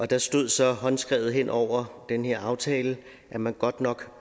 der stod så håndskrevet hen over den her aftale at man godt nok